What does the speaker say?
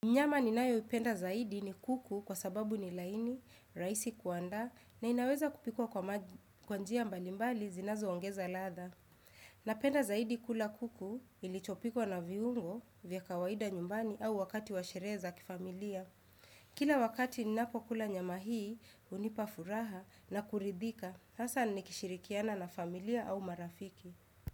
Nyama ninayoipenda zaidi ni kuku kwa sababu ni laini, rahisi kuandaa na inaweza kupikwa kwa njia mbalimbali zinazoongeza ladha. Na penda zaidi kula kuku ilichopikwa na viungo vya kawaida nyumbani au wakati washerehe za kifamilia. Kila wakati ninapokula nyama hii hunipa furaha na kuridhika, hasa nikishirikiana na familia au marafiki.